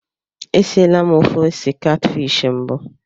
E siela m ofe ose katfishi mbụ.